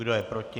Kdo je proti?